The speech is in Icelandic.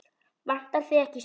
Vantar þig ekki stuð?